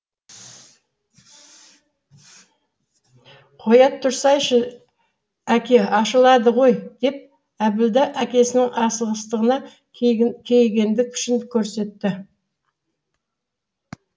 қоя тұрсайшы әке ашылады ғой деп әбділда әкесінің асығыстығына кейігендік пішін көрсетті